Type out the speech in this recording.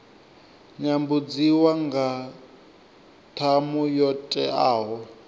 nyambudziwa nga ṱhamu yo teaho